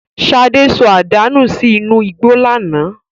Ṣadé sọ àdá nù sí inú igbó lánàá.